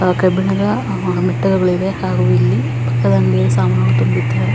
ಕಬ್ಬಿಣದ ಮೆಟ್ಟಲುಗಳಿವೆ ಹಾಗು ಇಲ್ಲಿ ಪಕ್ಕದ ಅಂಗಡಿಯಲ್ಲಿ ಸಾಮಾನುಗಳನ್ನು ತುಂಬಿದ್ದಾರೆ.